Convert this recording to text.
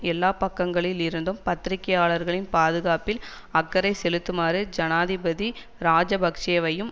எல்லா பக்கங்களில் இருந்தும் பத்திரிகையாளர்களின் பாதுகாப்பில் அக்கறை செலுத்துமாறு ஜனாதிபதி இராஜபக்ஷவையும்